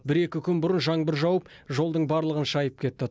бір екі күн бұрын жаңбыр жауып жолдың барлығын шайып кетті